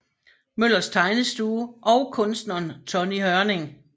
Møllers Tegnestue og kunstneren Tonny Hørning